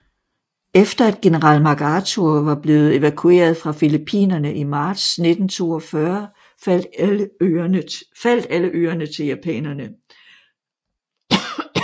Efter at general MacArthur var blevet evakueret fra Filippinerne i marts 1942 faldt alle øerne til japanerne